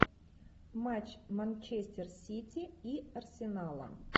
матч манчестер сити и арсенала